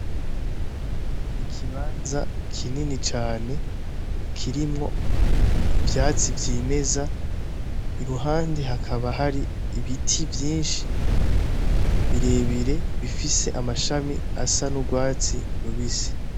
Ni ikibanza kinini cane kirimwo ivyatsi vyimeza i ruhande hakaba hari ibiti vyinshi birebire bifise amashami asa n'urwatsi rubisi.